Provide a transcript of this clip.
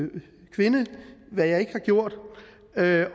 kvinde hvad jeg ikke har gjort